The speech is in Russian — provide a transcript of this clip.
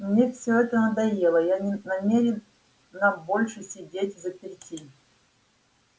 мне все это надоело я не намерена больше сидеть взаперти